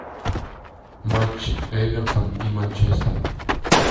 матч эвертон и манчестер